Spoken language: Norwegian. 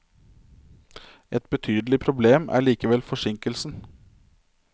Et betydelig problem er likevel forsinkelsen.